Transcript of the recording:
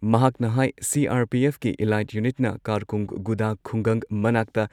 ꯃꯍꯥꯛꯅ ꯍꯥꯏ ꯁꯤ.ꯑꯥꯔ.ꯄꯤ.ꯑꯦꯐꯀꯤ ꯏꯂꯥꯏꯠ ꯌꯨꯅꯤꯠꯅ ꯀꯥꯔꯀꯨꯡꯒꯨꯗꯥ ꯈꯨꯡꯒꯪ ꯃꯅꯥꯛꯇ